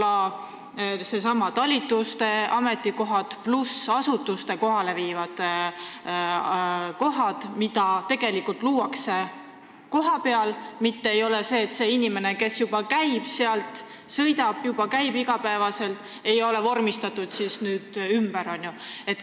Mõtlen näiteks neidsamu talituste ametikohti pluss neid asutuste ametikohti, mis tegelikult kohapeal luuakse, mitte seda, et inimene, kes juba sõidab sinna iga päev tööle, vormistatakse nüüd ümber.